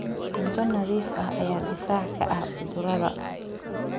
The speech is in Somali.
Cunto nadiif ah ayaa difaac ka ah cudurrada.